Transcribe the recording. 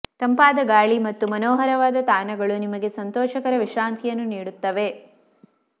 ತಂಪಾದ ಗಾಳಿ ಮತ್ತು ಮನೋಹರವಾದ ತಾಣಗಳು ನಿಮಗೆ ಸಂತೋಷಕರ ವಿಶ್ರಾಂತಿಯನ್ನು ನೀಡುತ್ತವೆ